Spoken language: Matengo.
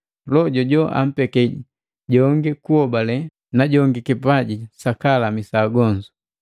Loho jojo ampeke jongi kuobale na jongi kipaji jukulamisa agonzu.